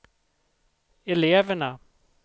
eleverna